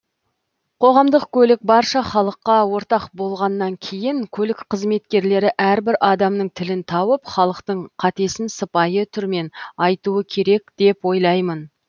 қоғамдық көлік барша халыққа ортақ болғаннан кейін көлік қызметкерлері әрбір адамның тілін тауып халықтың қатесін сыпайы түрмен айтуы керек деп ойлаймын